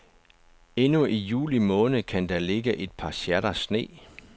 Endnu i juli måned kan der ligge et par sjatter sne.